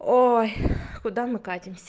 ой куда мы катимся